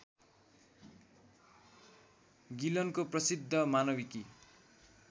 गिलनको प्रसिद्ध मानविकी